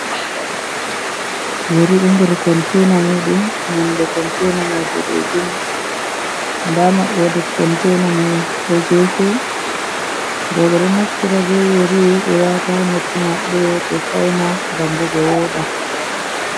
Yari ɗo nder kontaina muɗum nonde kontaina mai boɗejum nda maɓɓode kontaina mai ɗo gefe. Rowɓe ɗo naftira be yari ɓe wata noppi maɓɓe, be fauna ngam bo ɓe woɗa.